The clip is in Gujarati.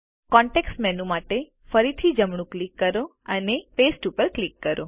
કોન્તેક્ષ્ટ મેનૂ માટે ફરીથી જમણું ક્લિક કરો અને પાસ્તે ઉપર ક્લિક કરો